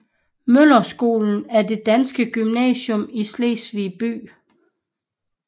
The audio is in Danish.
Møller Skolen er det danske gymnasium i Slesvig by